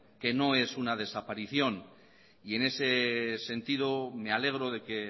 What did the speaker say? que no es una desaparición y en ese sentido me alegro de que